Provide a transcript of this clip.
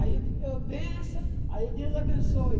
Aí eu, bença, aí Deus abençoe.